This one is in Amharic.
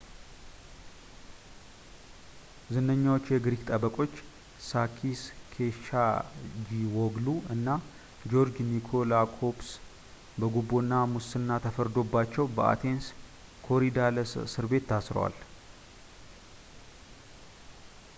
ዝነኛዎቹ የግሪክ ጠበቆች ሳኪስ ኬቻጂዎግሉ እና ጆርጅ ኒኮላኮፕለስ በጉቦ እና ሙስና ተፈርዶባቸው በአቴንስ ኮሪዳለስ እስርቤት ታስረዋል